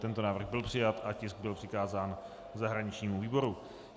Tento návrh byl přijat a tisk byl přikázán zahraničnímu výboru.